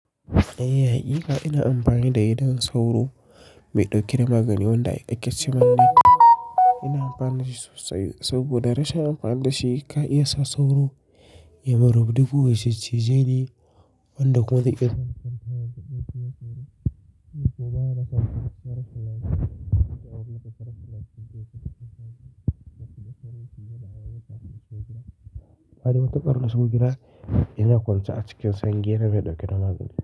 Eh, haƙiƙa ina amfani da gidan sauro mai ɗauke da magani wanda ake Ina amfani da shi sosai saboda rashin amfani da shi ka iya sa sauro ya mun rubdugu ya ciccije ni wanda ƙarƙar gida ina kusa a cikin sange na mai ɗauke da magani.